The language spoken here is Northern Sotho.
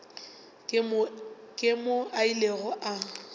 ke moo a ilego a